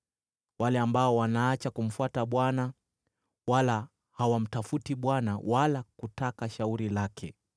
wale wanaoacha kumfuata Bwana , wala hawamtafuti Bwana wala kutaka shauri lake.